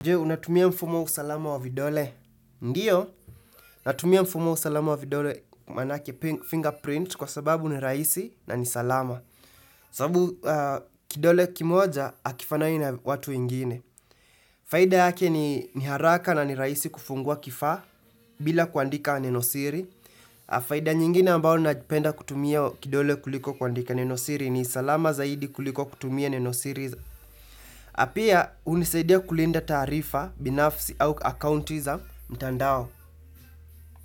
Je, unatumia mfumo usalama wa vidole? Ndio. Natumia mfumo wa usalama wa vidole manake fingerprint kwa sababu ni rahisi na ni salama. Sababu kidole kimoja hakifanani na watu ingine. Faida yake ni haraka na ni rahisi kufungua kifaa bila kuandika neno siri. Faida nyingine ambao napenda kutumia kidole kuliko kuandika nenosiri ni salama zaidi kuliko kutumia nenosiri. Na pia hunisaidia kulinda taarifa binafisi au akounti za mtandao.